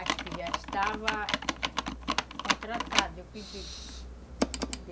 Acho que já estava contratada, eu que digo.